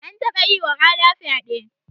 An taba yiwa Ada fyaɗe.